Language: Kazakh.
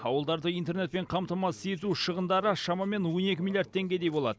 ауылдарды интернетпен қаматамасыз ету шығындары шамамен он екі миллиард теңгедей болады